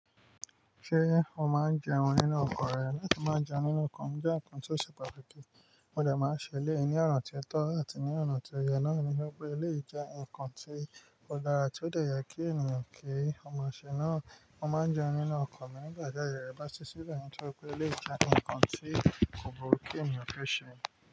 Ṣé o máa ń jẹun nínú ọkọ̀ rẹ? Láti má jẹun nínú ọkọ̀ ń jẹ́ ǹkan tó ṣe pàtàkì, mo dẹ̀ máa ń ṣele ní ọnà tí ó tọ́ áti ní ọ̀nà tí ó yẹ, náà ni wípé, ó lè jẹ ǹkan tí ó dára tí ó dẹ̀ yẹ kí ènìyàn kí ó máa ṣe. Náà, mo máa ń jẹun nínú ọkọ̀ mi nígbà tí aye rẹ bá ti sí lẹ̀ nítorí pé, é lè jẹ ǹkan tí kò burú kí ènìyàn tó ṣe.